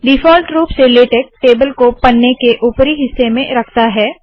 default रूप से LaTeX table को पन्ने के उपरी हिस्से में रखता है